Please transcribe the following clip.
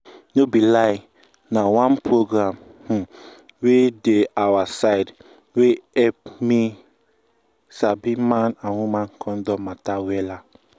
no be lie na oneprogram um wey dey awa side help me sabi man and woman condom matter wella